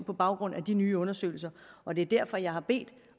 på baggrund af de nye undersøgelser og det er derfor jeg har bedt